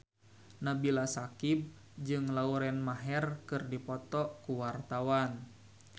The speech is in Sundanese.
Nabila Syakieb jeung Lauren Maher keur dipoto ku wartawan